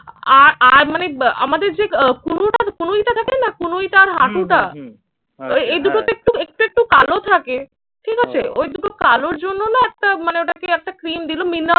আর আর মানে আহ আমাদের যে কনুইটা কনুইটা থাকে না কনুইটা আর হাঁটুটা এই দুটোতে একটু একটু একটু কালো থাকে, ঠিক আছে? ওই দুটো কালোর জন্য না একটা মানে ওটা কি একটা ক্রিম দিল।